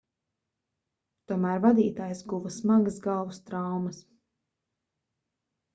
tomēr vadītājs guva smagas galvas traumas